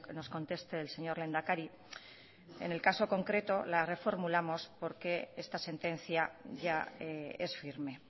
nos conteste el señor lehendakari en el caso concreto la reformulamos porque esta sentencia ya es firme